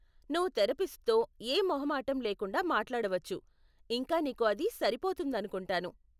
నువ్వు థెరపిస్ట్తో ఏ మొహమాటం లేకుండా మాట్లాడవచ్చు, ఇంకా నీకు అది సరిపోతుందనుకుంటాను.